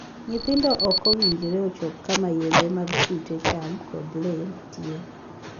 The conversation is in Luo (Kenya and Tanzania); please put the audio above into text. Nyithindo ok owinjore ochop kama yedhe mag kute, cham, kod lee nitie.